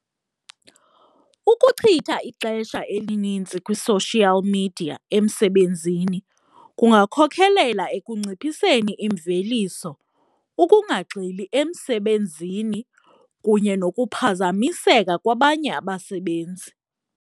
Ukuchitha ixesha elinintsi kwi-social media emsebenzini kungakhokhelela ekunciphiseni imveliso, ukungagxili emsebenzini kunye nokuphazamiseka kwabanye abasebenzi.